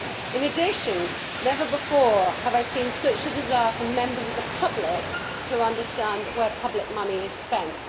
In addition, never before have I seen such a desire from members of the public to understand where public money is spent.